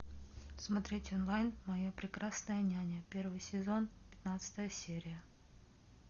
смотреть онлайн моя прекрасная няня первый сезон пятнадцатая серия